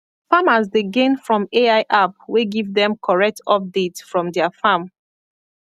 farmers dey gain from ai app wey give them correct update from their farm